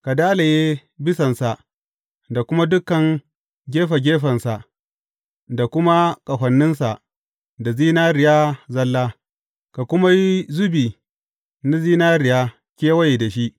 Ka dalaye bisansa da kuma dukan gefe gefensa da kuma ƙahoninsa da zinariya zalla, ka kuma yi zubi na zinariya kewaye da shi.